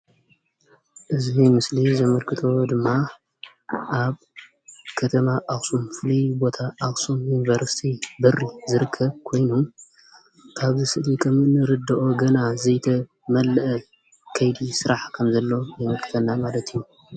እዚ ምስሊ ዘመልክቶ ወይ ድማ ኣብ ከተማ ኣክሱም ፍሉይ ቦታ ኣክሱም ዩኒቨርሰቲ በሪ ዝርከብ ኮይኑ ካብዚ ምስሊ ከምንርድኦ ገና ዘይተመለአ ከይዲ ስራሕ ከምዘለዎ የመላክተና ማለት እዩ።